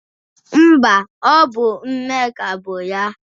Mba, ọ bụ Nneka bụ ya.